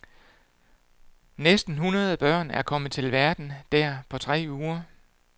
Næsten hundrede børn er kommet til verden der på tre uger.